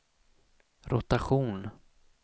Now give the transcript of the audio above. rotation